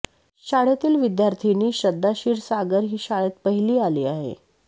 शाळेतील विद्यार्थिनी श्रद्धा क्षीरसागर ही शाळेत पहिली आली आहे